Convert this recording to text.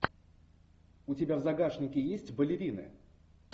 у тебя в загашнике есть балерины